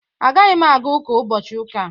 Agaghị m aga ụka ụbọchị Ụka a